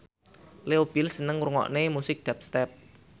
Leo Bill seneng ngrungokne musik dubstep